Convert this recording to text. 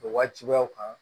O wajibiyaw kan